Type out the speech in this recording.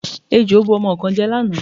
Ejò bu ọmọ kan jẹ lánàá.